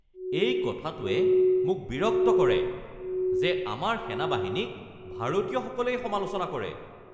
এই কথাটোৱে মোক বিৰক্ত কৰে যে আমাৰ সেনাবাহিনীক ভাৰতীয়সকলেই সমালোচনা কৰে